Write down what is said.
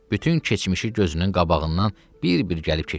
Bütün keçmişi gözünün qabağından bir-bir gəlib keçdi.